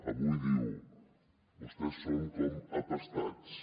avui diu vostès són com empestats